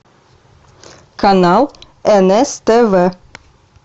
канал нс тв